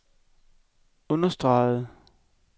understregede